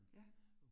Ja